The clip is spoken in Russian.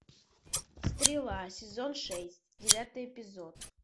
стрела сезон шесть девятый эпизод